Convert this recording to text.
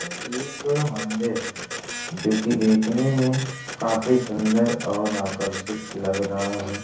एक मंदिर है जो कि देखने में काफी सुन्दर और आकर्षित लग रहा है।